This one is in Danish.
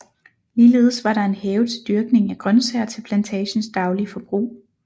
Ligeledes var der en have til dyrkning af grøntsager til plantagens daglige forbrug